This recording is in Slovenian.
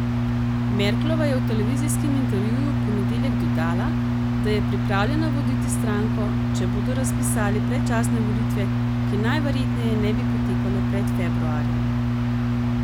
Merklova je v televizijskem intervjuju v ponedeljek dodala, da je pripravljena voditi stranko, če bodo razpisali predčasne volitve, ki najverjetneje ne bi potekale pred februarjem.